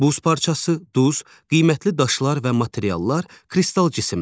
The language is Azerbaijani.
Buz parçası, duz, qiymətli daşlar və materiallar kristal cisimdir.